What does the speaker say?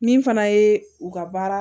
Min fana ye u ka baara